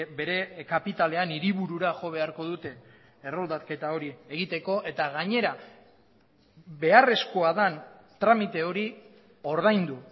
bere kapitalean hiriburura jo beharko dute erroldaketa hori egiteko eta gainera beharrezkoa den tramite hori ordaindu